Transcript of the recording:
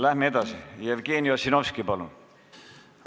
Läheme edasi: Jevgeni Ossinovski, palun!